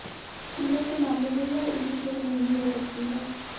कीमत के मामने में यह ईवी थोड़ी महंगी हो सकती है